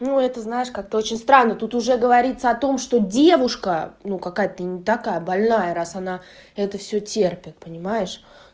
ну это знаешь как-то очень странно тут уже говорится о том что девушка ну какая-то не такая больная раз она это всё терпит понимаешь